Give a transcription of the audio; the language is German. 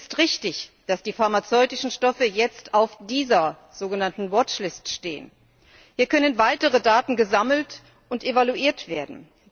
Es ist richtig, dass die pharmazeutischen Stoffe jetzt auf dieser sogenannten Watchlist stehen. Hier können weitere Daten gesammelt und evaluiert werden.